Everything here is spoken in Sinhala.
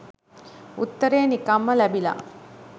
උත්තරේ නිකන්ම ලැබිල